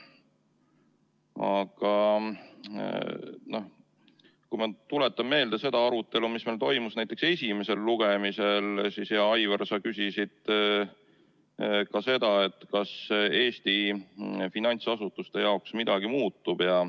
Aga kui ma tuletan meelde seda arutelu, mis meil toimus näiteks esimesel lugemisel, siis, hea Aivar, sa küsisid ka seda, kas Eesti finantsasutuste jaoks midagi muutub.